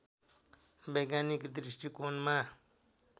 वैज्ञानिक दृष्टिकोणमा